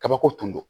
Kabako tun don